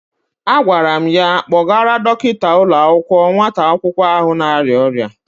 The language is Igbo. Agwara m ya kpọrọgara Dọkịta ụlọakwụkwọ nwata akwụkwọ ahụ na-arịa ọrịa.